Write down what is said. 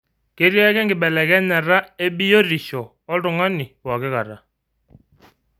Ketii ake enkibelekenyata ebiotisho oltungani pookikata.